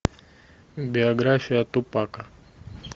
биография тупака